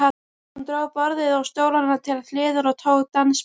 Hún dró borðið og stólana til hliðar og tók dansspor.